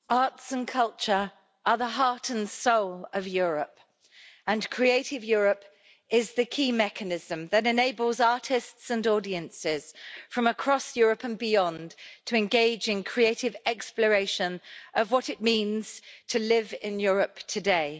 Madam President, arts and culture are the heart and soul of Europe and Creative Europe is the key mechanism that enables artists and audiences from across Europe and beyond to engage in creative exploration of what it means to live in Europe today.